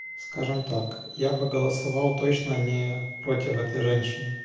скажем так я бы голосовал точно не против этой женщины